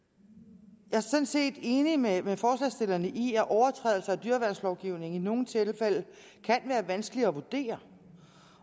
jeg er sådan set enig med forslagsstillerne i at overtrædelser af dyreværnslovgivningen i nogle tilfælde kan være vanskelige at vurdere